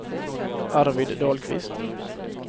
Arvid Dahlqvist